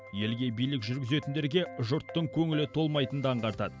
елге билік жүргізетіндерге жұрттың көңілі толмайтынды аңғартады